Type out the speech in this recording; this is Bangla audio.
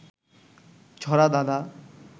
ছড়া, ধাঁধা